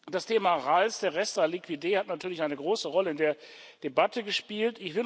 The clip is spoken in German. Das Thema RAL, der rest liquider, hat natürlich eine große Rolle in der Debatte gespielt.